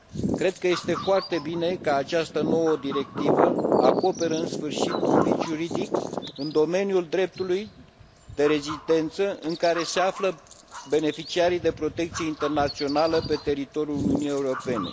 Cred că este foarte bine că această nouă directivă acoperă în sfârșit un vid juridic în domeniul dreptului de rezidență în care se află beneficiarii de protecție internațională pe teritoriul Uniunii Europene.